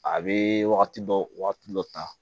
A bɛ wagati dɔ wagati dɔ ta